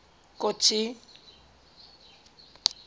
kotsi